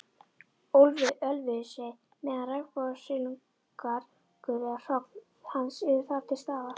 Ölfusi, meðan regnbogasilungur eða hrogn hans eru þar til staðar.